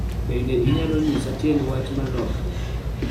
Bende inyalo nyisa tiend wach ma lokore